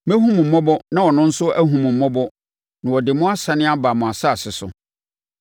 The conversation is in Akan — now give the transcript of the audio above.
Mɛhu mo mmɔbɔ na ɔno nso ahu mo mmɔbɔ na ɔde mo asane aba mo asase so.’